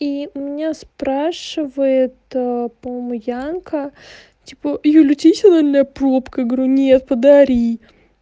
и у меня спрашивает ээ по-моему янка типа юль у тебя есть анальная пробка я говорю нет подари